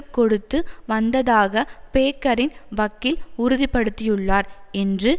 கொடுத்து வந்ததாக பேக்கரின் வக்கீல் உறுதிபடுத்தியுள்ளார் என்று